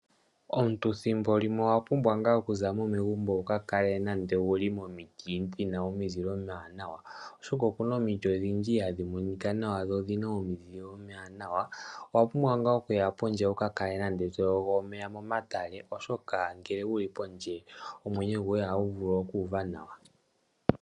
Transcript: Omuntu ethimbo limwe owa pumbwa ngaa okuza mo megumbo, wuka kale nando wu li momiti dhina omizile omi wanawa. Oshoka okuna omiti odhindji ha dhi monika nawa, dho odhina omizile omi wanawa. Owa pumbwa ngaa okuya pondje wu ka kale nande to yogo omeya momatale, oshoka ngele wu li pondje omwenyo goye ohagu vulu oku uva nawa.